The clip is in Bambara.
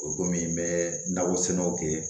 O komi n bɛ na o sɛnɛw kɛ